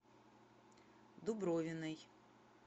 дубровиной